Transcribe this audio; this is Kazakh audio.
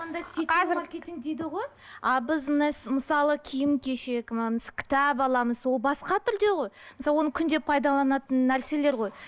маркетинг дейді ғой а біз мысалы киім кешек кітап аламыз ол басқа түрде ғой мысалы оны күнде пайдаланатын нәрселер ғой